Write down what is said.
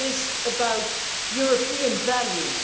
It is about European values.